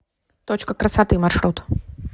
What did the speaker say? точка красоты маршрут